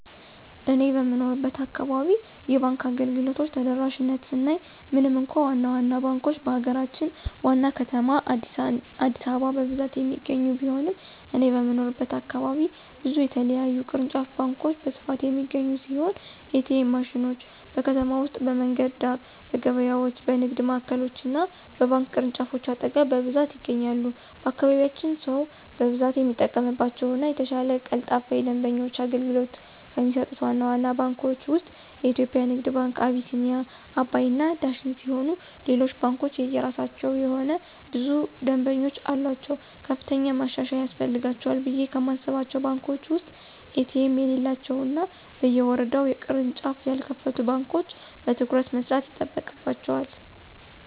እኔ በምኖርበት አካባቢ የባንክ አገልግሎቶች ተደራሽነት ስናይ ምንም እንኳ ዋና ዋና ባንኮች በሀገራችን ዋና ከተማ አዲስአበባ በብዛት የሚገኙ ቢሆንም እኔ በምኖርበት ከተማ ብዙ የተለያዩ ቅርንጫፍ ባንኮች በስፋት የሚገኙ ሲሆን: ኤ.ቲ.ኤም ማሽኖች: በከተማ ውስጥ በመንገድ ዳር፣ በገበያዎች፣ በንግድ ማዕከሎች እና በባንክ ቅርንጫፎች አጠገብ በብዛት ይገኛሉ። በአካባቢያችን ሰው በብዛት የሚጠቀምባቸው እና የተሻለ ቀልጣፋ የደንበኞች አገልግሎት ከሚሰጡት ዋና ዋና ባንኮች ውስጥ (የኢትዮጽያ ንግድ ባንክ፣ አቢሲኒያ፣ አባይ እና ዳሽን ሲሆኑ ሌሎች ባንኮችም የየራሳቸው የሆነ ብዙ ደምበኞች አሉአቸው። ከፍተኛ ማሻሻያ ያስፈልጋቸዋል ብየ ከማስባቸው ባንኮች ውስጥ ኤ.ቲ.ኤም የሌላቸው እና በየወረዳው ቅርንጫፍ ያልከፈቱ ባንኮች በትኩረት መስራት ይጠበቅባቸዋል።